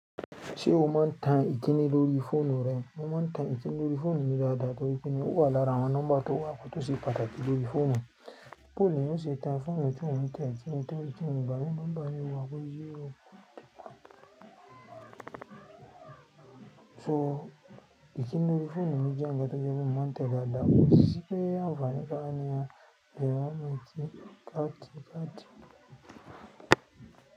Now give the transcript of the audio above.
Ṣé o máa ń tan ìkíni lórí fóònù rẹ? Mo máa ń tan ìkíni lórí fóònù mi dáadáa torí pé mi ò wà lára àwọn nọ́mbà tó wà kótó ṣe pàtàkì lórí fóònù. Bóyá ìyá mi ṣe tan fóònù tí mo ń tẹ ìkíni tán, ìkíni ìgbà mí nọ́mbà mi wà bo 0804. So ìkíni lórí fóònù mi jẹ́ ń gba tó jẹ́ bí mo máa ń tẹ dáadáa, ó sì pé a fániká a ní a lè wá mu ẹ̀kẹ̀ káàkiri káàkiri.